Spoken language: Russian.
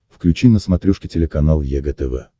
включи на смотрешке телеканал егэ тв